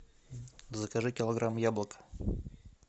закажи килограмм яблок